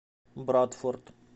брадфорд